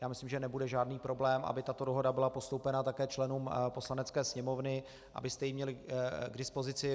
Já myslím, že nebude žádný problém, aby tato dohoda byla postoupena také členům Poslanecké sněmovny, abyste ji měli k dispozici.